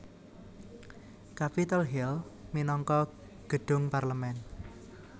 Capitol Hill minangka gedhung parlemen